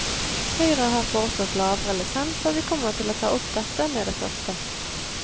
Høyre har foreslått lavere lisens, og vi kommer til å ta opp dette med det første.